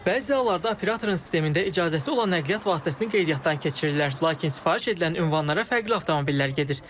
Bəzi hallarda operatorun sistemində icazəsi olan nəqliyyat vasitəsini qeydiyyatdan keçirirlər, lakin sifariş edilən ünvanlara fərqli avtomobillər gedir.